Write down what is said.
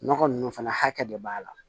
Nɔgɔ nunnu fana hakɛ de b'a la